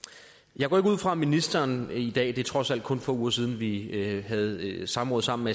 jeg går ikke ud fra at ministeren i dag det er trods alt kun få uger siden vi havde et samråd sammen